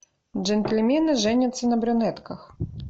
джентльмены женятся на брюнетках